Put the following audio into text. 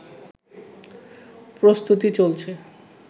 প্রস্তুতি চলছে